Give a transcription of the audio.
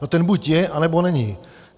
No ten buď je, anebo není.